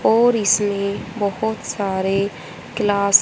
और इसमें बहोत सारे ग्लास --